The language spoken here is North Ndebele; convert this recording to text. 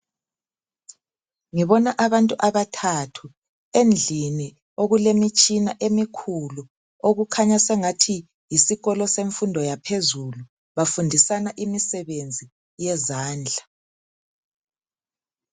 Ngibona abantu abathathu ,endlini okulemitshina emikhulu . Okukhanya sengathi yisikolo semfundo yaphezulu ,bafundisana imisebenzi yezandla.